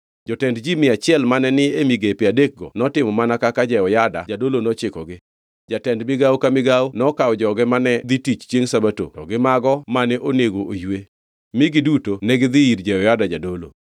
Jotend ji mia achiel mane ni e migepe adekgo notimo mana kaka Jehoyada jadolo nochikogi. Jatend migawo ka migawo nokawo joge mane dhi tich chiengʼ Sabato to gi mago mane onego oywe, mi giduto negidhi ir Jehoyada jadolo.